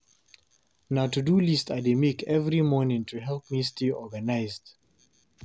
Na to-do list I dey make every morning to help me stay organized.